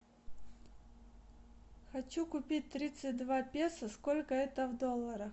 хочу купить тридцать два песо сколько это в долларах